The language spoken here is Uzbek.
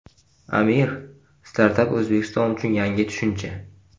Amir: Startap O‘zbekiston uchun yangi tushuncha.